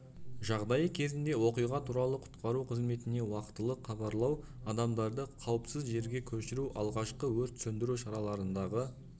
жағдайы кезінде оқиға туралы құтқару қызметіне уақытылы хабарлау адамдарды қауіпсіз жерге көшіру алғашқы өрт сөндіру шараларындағы